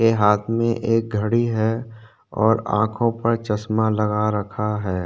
के हाथ में एक घड़ी है और आँखों पर चश्मा लगा रखा है।